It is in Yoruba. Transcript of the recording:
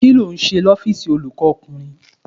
Kí ló ń ṣe ní ọ́fíìsì olùkọ́ ọkùnrin?